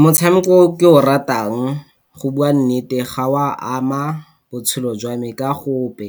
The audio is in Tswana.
Motshameko o ke o ratang go bua nnete ga o a ama botshelo jwame ka gope.